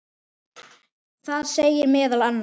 Það segir meðal annars